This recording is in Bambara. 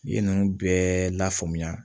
I ye ninnu bɛɛ lafaamuya